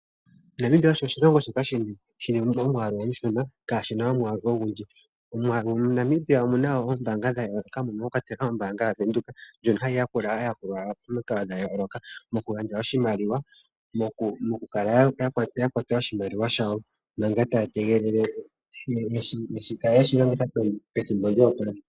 Namibia osho oshilongo shoka shina omwaalu omushona kaashina omwaalu ogundji, omwaalu Namibia omuna woo oombaanga dha yooloka moka mwakwatelwa ombaanga yaWidhoek ndjono hayi yakula aayakulwa yawo momikalo dha yooloka mokugandja oshimaliwa mokukala yakwata oshimaliwa shawo manga taya tegelele yakale yeshi longitha pethimbo lyoopalela